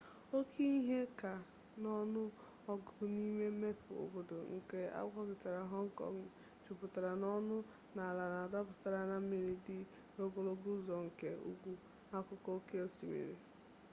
oke ihe ka n'ọnụ ọgụgụ n'ime mmepe obodo nke agwaetiti hong kong jupụtara n'ọnụ na ala a napụtara na mmiri dị n'ogologo ụzọ nke ugwu akụkụ oke osimiri